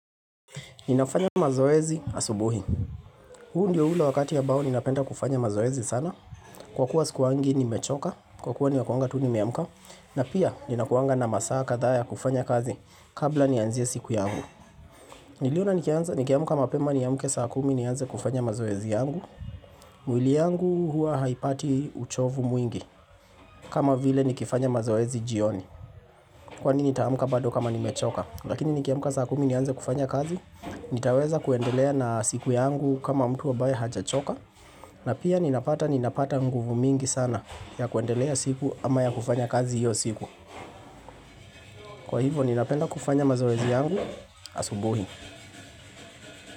Ninafanya mazoezi asubuhi huu ndio ule wakati ambao ninapenda kufanya mazoezi sana Kwa kuwa sikuwangi nimechoka kwa kuwa nakuanga tu nimeamuka na pia ninakuanga na masaa kadhaa kufanya kazi kabla nianzie siku yangu Niliona nikiamuka mapema niamuke saa kumi nianze kufanya mazoezi yangu mwili yangu hua haipati uchovu mwingi kama vile nikifanya mazoezi jioni Kwani nitaamuka bado kama nimechoka lakini nikiamuka saa kumi nianze kufanya kazi nitaweza kuendelea na siku yangu kama mtu ambaya hajachoka na pia ninapata nguvu mingi sana ya kuendelea siku ama ya kufanya kazi hiyo siku Kwa hivo ninapenda kufanya mazoezi yangu asubuhi.